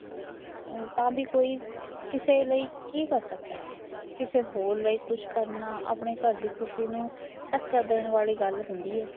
ਤਾ ਵੀ ਕੋਈਂ ਕਿਸੇ ਲਿਆ ਕੇ ਕਰ ਸਕਦਾ ਕਿਸੇ ਹੋਰ ਲਈ ਕੁੱਛ ਕਰਨਾ ਆਪਣੇ ਘਰ ਦੀ ਖੁਸ਼ੀ ਨੂੰ ਧੱਕਾ ਧੱਕਾ ਦੇਣ ਵਾਲੀ ਗੱਲ ਹੁੰਦੀ ਹੈ